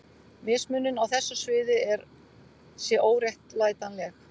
Mismunun á þessu sviði sé óréttlætanleg.